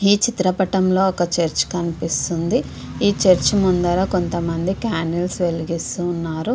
ఈ చిత్రపటంలో ఒక చేర్చి కనిపిస్తుంది. ఈ చర్చ ముందర కొంతమంది క్యాండిల్స్ వెలిగిస్తూ ఉన్నారు.